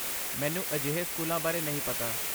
ਮੈਨੂੰ ਅਜਿਹੇ ਸਕੂਲਾਂ ਬਾਰੇ ਨਹੀਂ ਪਤਾ।